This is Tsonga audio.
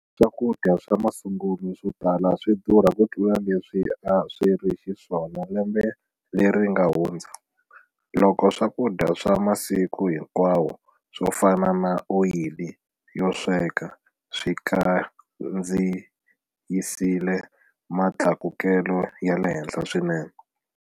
Swakudya swa masungulo swo tala swi durha kutlula leswi a swi ri xiswona lembe leri nga hundza, loko swakudya swa masiku hinkwawo swo fana na oyili yo sweka swi kandziyisile mitlakuko ya le henhla swinene.